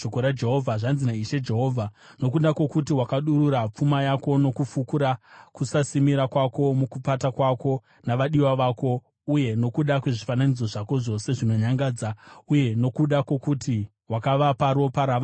Zvanzi naIshe Jehovha: Nokuda kwokuti wakadurura pfuma yako nokufukura kusasimira kwako mukupata kwako navadiwa vako, uye nokuda kwezvifananidzo zvako zvose zvinonyangadza, uye nokuda kwokuti wakavapa ropa ravana vako,